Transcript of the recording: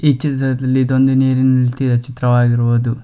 ಈ ಚೀತ್ತದಲ್ಲಿ ಇದೊಂದು ನೀರಿನಲ್ತಿಯ ಚಿತ್ರವಾಗಿರಬಹುದು.